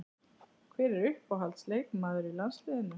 Hver er uppáhalds leikmaður í landsliðinu?